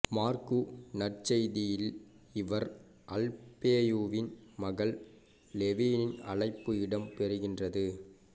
மாற்கு நற்செய்தியில் இவர் அல்பேயுவின் மகன் லேவியின் அழைப்பு இடம் பெறுகின்றது